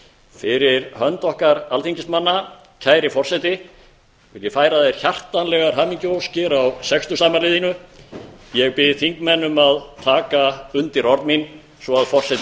fyrir hönd okkar alþingismanna kæri forseti vil ég færa þér hjartanlegar hamingjuóskir á sextugsafmæli þínu ég bið þingmenn um að taka undir orð mín svo forseti heyri